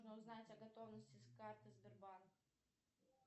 узнать о готовности карты сбербанк